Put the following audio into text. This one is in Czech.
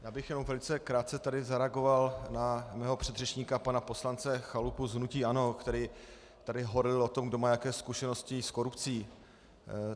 Já bych jenom velice krátce tady zareagoval na svého předřečníka pana poslance Chalupu z hnutí ANO, který tady horlil o tom, kdo má jako zkušenosti s korupcí.